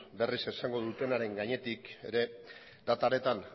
berriz esango dutenaren gainetik ere data horretan